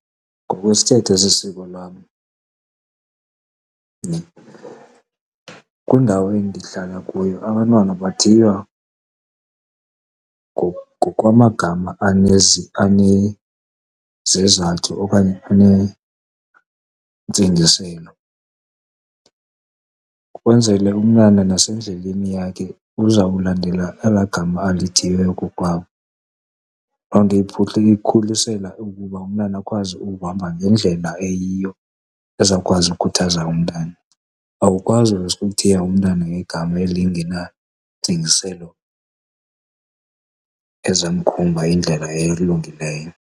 Ngokwesithethe sesiko lam nhe, kwindawo endihlala kuyo abantwana bathiywa ngokwamagama anezizathu okanye anentsingiselo kwenzele umntana nasendleleni yakhe uzawulandela ela gama alithiywe kokwabo. Lo onto imkhulisela ukuba umntana akwazi ukuhamba ngendlela eyiyo ezawukwazi ukhuthaza umntana. Awukwazi uvese uthiye umntana ngegama elingenantsingiselo ezamkhomba indlela elungileyo.